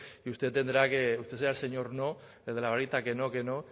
y usted tendrá que usted será el señor no el de la varita que no que no